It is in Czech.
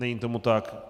Není tomu tak.